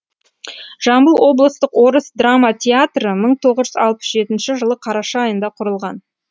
жамбыл облыстық орыс драма театры мың тоғыз жүз алпыс жетінші жылы қараша айында құрылған